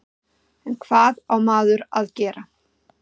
En hvað á maður að gera?